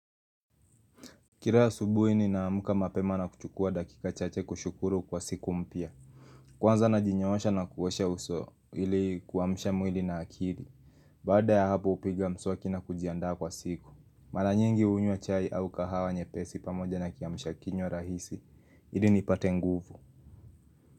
Kila ya asubuhi ninaamka mapema na kuchukua dakika chache kushukuru kwa siku mpya. Kwanza na najinyoosha na kuosha uso ili kuamsha mwili na akili. Baada ya hapo hupiga mswaki na kujiandaa kwa siku. Mara nyingi hunywa chai au kahawa nyepesi pamoja na kiamsha kinywa rahisi. Ili nipate nguvu.